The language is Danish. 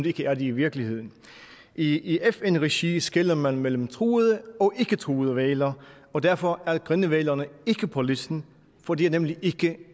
ikke er det i virkeligheden i fn regi skelner man mellem truede og ikketruede hvaler og derfor er grindehvalerne ikke på listen for de er nemlig ikke